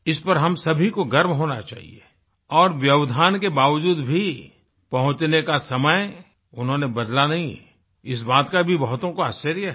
इस पर हम सभी को गर्व होना चाहिए और व्यवधान के बावजूद भी पहुँचने का समय उन्होंने बदला नहीं इस बात का भी बहुतों को आश्चर्य है